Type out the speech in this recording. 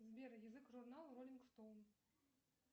сбер язык журнал роллинг стоун